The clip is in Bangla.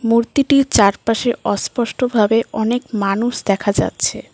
মূর্তিটির চারপাশে অস্পষ্টভাবে অনেক মানুষ দেখা যাচ্ছে।